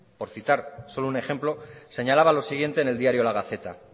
por citar solo un ejemplo señalaba lo siguiente en el diario la gaceta